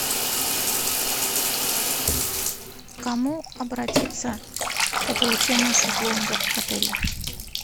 к кому обратиться по получению шезлонга в отеле